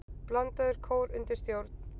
Blandaður kór undir stjórn